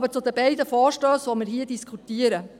Nun zu den beiden Vorstössen, die wir hier diskutieren: